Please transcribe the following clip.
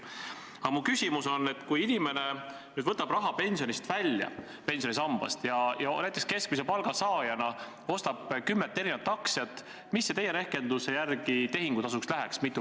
Aga mu küsimus on: kui inimene nüüd võtab raha pensionisambast välja ja ostab näiteks keskmise palga saajana kümmet liiki aktsiaid, siis kui palju teie rehkenduse järgi tehingutasuks läheks?